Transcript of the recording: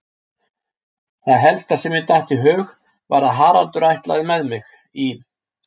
Það helsta sem mér datt í hug var að Haraldur ætlaði með mig í